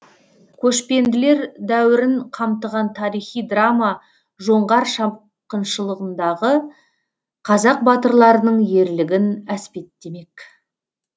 көшпенділер дәуірін қамтыған тарихи драма жоңғар шапқыншылығындағы қазақ батырларының ерлігін әспеттемек